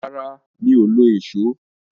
Rárá, mi ò lo ìsó.